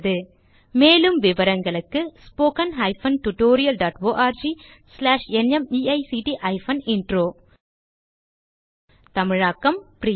மேலும் விவரங்களுக்கு spoken hyphen tutorial dot org slash NMEICT hyphen intro தமிழாக்கம் பிரியா